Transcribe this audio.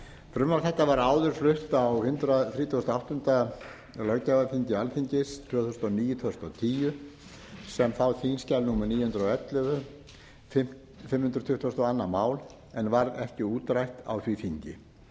frumvarp þetta var áður flutt á hundrað þrítugasta og áttunda löggjafarþingi alþingis tvö þúsund og níu til tvö þúsund og tíu þá sem þingskjal númer níu hundruð og ellefu fimm hundruð tuttugustu og önnur mál en varð ekki útrætt á því þingi